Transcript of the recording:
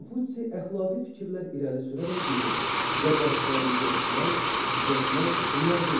Konfutsi əxlaqi fikirlər irəli sürərək deyirdi: qəbahətlərimizi örtmək, gizlətmək hünər deyil.